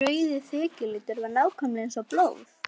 Þessi rauði þekjulitur var nákvæmlega eins og blóð!